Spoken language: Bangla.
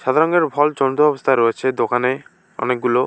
সাদা রঙের ভল চন্দ্র অবস্থায় রয়েছে দোকানে অনেকগুলো।